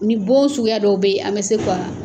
Ni bɔ suguya dɔw bɛ yen an bɛ se ka